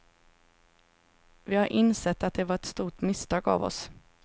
Vi har insett att det var ett stort misstag av oss.